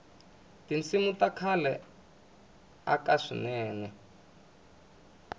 tinsimu ta khale ta aka swinene